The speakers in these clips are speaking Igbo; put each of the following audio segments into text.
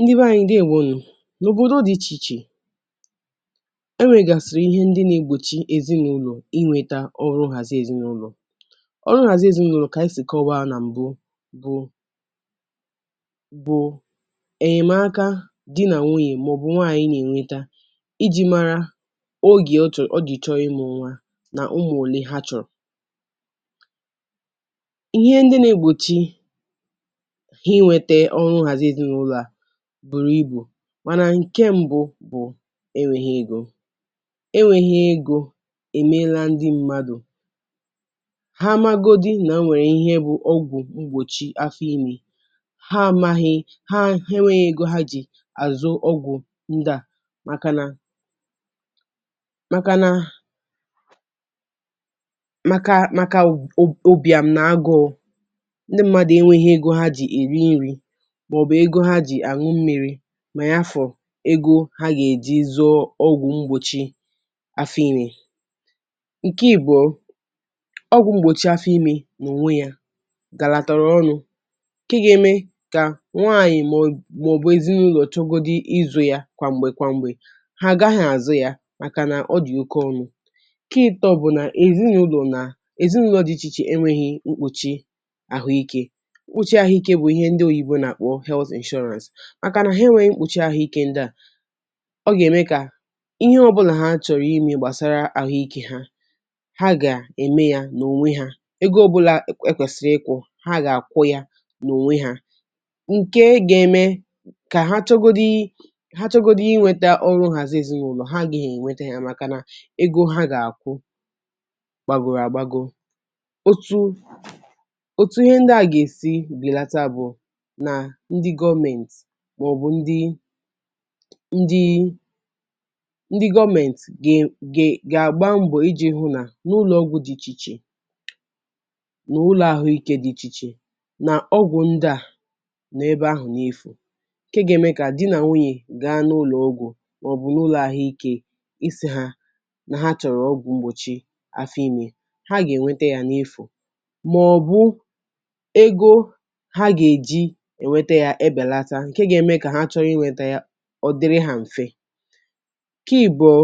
Ndịbé ànyị́ ndeewonú nú ọ́ọ̀. N’ọ̀bodo dị ichè ichè enwègàsị̀rị̀ ihè ndị na-egbochí ezì n'ụlọ inweta ọrụ nhazì ezinàụlọ̀, ọrụ nhazì ezi nà ụlọ̀ ka anyị sịrị kọ̀wa na mbụ bụ, bụ enyemaka dị na nwụ̀yé maọbụ nwanyị na-enweta ijì mara oge ọchọ́rọ̀, ọ̀jị chọ́ọ̀ ịmụ nwa, na ụmụ́ ọlé ha chọrọ, ihè ndị na-egbochí ha inweta ọrụ ezì na ụlọ̀ bụrụ ịbù, mana nke mbụ bụ enweghị ego, e nweghị ego emèrà ndị mmadụ, ha màgọdị na enwere ihè bụ ogwu mgbọ́chì afọ ime, ha maghị ha enweghị ego aga ejí azụ̀ ogwu ndịa maka na maka na ,maka maka ụ ụbiàm na agụ́ụ̀ ndị mmadụ enwèghị ego ha ga-èrí nri maọbụ egọ ha ga-anwụ̀ mmiri, ma ya fọ̀ ego ha ga-eji zùo ogwu mgbọ́chì afọ ime, nke ibùọ̀ ogwu mgbọ́chì afọ ime na-onwe ya garàtarà ọnụ nke ka-eme ka nwanyị maọbụ ezinàụlọ̀ chọ́gòdịrị izù ya kwàmgbè kwà mgbe ha agaghị azụ̀ ya maka na ọ dị oke ọnụ, nke itò bụ na ezì na ụlọ na, ezì na ụlọ dị iche iche enwèghị mkpuchì ahụ́ ike, mkpuchì ahụ́ ike bụ ihè ndị ọnyị́bọ̀ na-akpọ health insurance. Maka na ha enwèghị mkpuchì ahụ́ ike ndị a, ọ ga-eme ka ihe ọ̀bụ̀là achọ̀rọ̀ ime gbasara ahụ́ ike ha, ha ga-eme ya na onwe ha, ego ọ̀bụ̀là e kwesịrị ikwu ha ga-akwụ ya na onwe ha, nke ga-eme ka ha chọ́gòdị, ha chọ́gòdị inweta ọrụ nhazì ezì na ụlọ ha agaghị enweta ya maka na ego ha ga-akwụ gbagoro agbago, otu ọtụ ihè ndị a ga-esi belata bụ na ndị gọ́ment maọbụ ndị, ndịí ndị gọ́ment gè gè ga-agba mbọ hụ na n’ụlọ ogwu dị iche iche, na ụlọ ahụ́ ike dị iche iche, na ogwu ndị a nọ na ebe ahụ̀ ha na-efu, nke ga-eme ka di na nwunye gaa na ụlọ ogwu maọbụ na ụlọ ahụ́ ike ísí ha na ha chọrọ ogwu mgbọ́chì afọ ime ha ga-enweta ya n’efu maọbụ ego ha ga-eji enweta ya ebelata, nke ga-eme ka ha chọọ inweta ha ọ dịrị ha mfè, nke ibùọ̀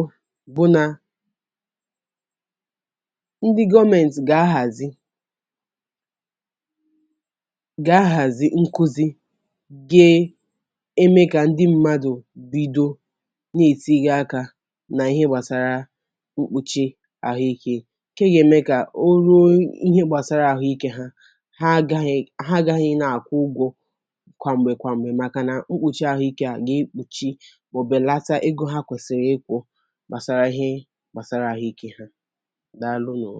bụ na ndị ndị gọ́mèntị ga-ahazi, ga-ahazi nkuzi ga-eme ka ndị mmadụ bido na-etinye aka na ihe gbasara ikpuchì ahụ́ ike nke ga-eme ka ọ ruo ihe gbasara ahụ́ ike ha, ha agaghị, ha agaghị na-akwụ ụgwọ kwàmbè kwàmbè maka na ikpuchì ahụ́ ike ga-egbochi, ọ̀belata ego ha kwesiri ikwu gbasara ihe gbasara ahụ́ ike ha, Daalụ nụ.